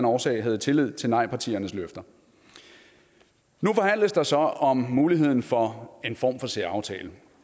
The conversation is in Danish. årsag havde tillid til nejpartiernes løfter nu forhandles der så om muligheden for en form for særaftale